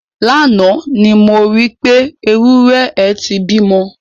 Lánàá ni mo rí pé, ewúrẹ́ ẹ ti bímọ.